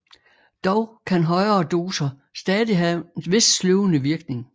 Dog kan højere doser stadig have en vis sløvende virkning